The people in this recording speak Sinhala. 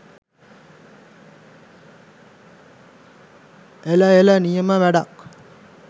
එල එල නියම වැඩක්